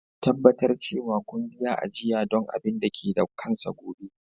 Tabbatar cewa kun biya ajiya don abin da ke da kansa gobe.